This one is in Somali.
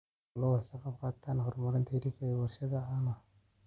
Xooluhu waxay ka qayb qaataan horumarinta hilibka iyo warshadaha caanaha.